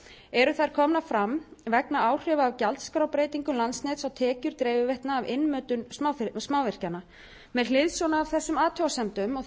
eru þær komnar fram vegna áhrifa af gjaldskrárbreytingum landsnets á tekjur dreifiveitna af innmötun smávirkjana með hliðsjón af þessum athugasemdum